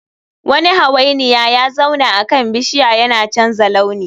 Wani hawainiya ya zauna akan bishiya yana canza launi